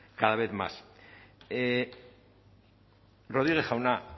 cada vez más rodriguez jauna